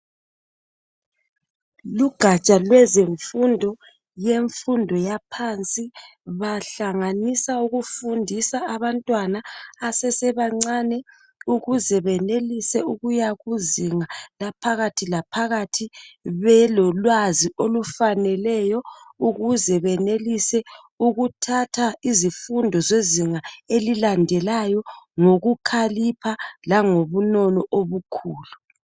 Lugatsha lwezemfundo , lwemfundo yaphansi, bahlanganisa ukufundisa abantwana abasesebancane, ukuze benelise ukuya kuzinga laphakathilaphakathi belolwazi olufaneleyo ukuze benelise ukuthatha izifundo zezinga elilandelayo ngokukhalipha langobunono obukhulu.